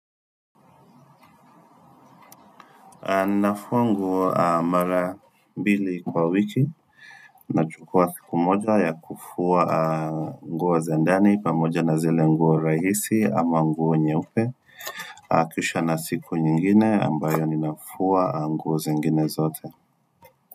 Nafuwa nguo mara mbili kwa wiki, na chukua siku moja ya kufuwa nguo za ndani, pamoja na zile nguo rahisi ama nguo nyeupe, kisha na siku nyingine ambayo ninafuwa nguo zingine zote.